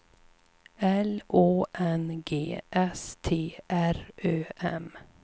L Å N G S T R Ö M